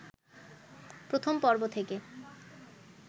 প্রথম পর্ব থেকে